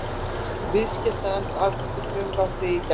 Viðskiptanefnd afgreiddi frumvarpið í gærdag